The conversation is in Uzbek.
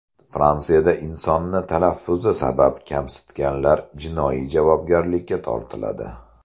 Fransiyada insonni talaffuzi sabab kamsitganlar jinoiy javobgarlikka tortiladi.